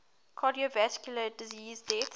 cardiovascular disease deaths